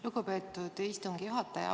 Lugupeetud istungi juhataja!